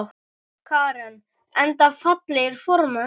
Karen: Enda fallegir formenn?